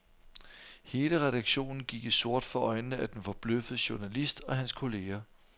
Hele redaktionen gik i sort for øjnene af den forbløffede journalist og hans kolleger.